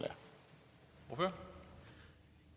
jo